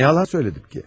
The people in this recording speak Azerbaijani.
Nə yalan söylədim ki?